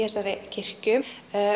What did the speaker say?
þessari kirkju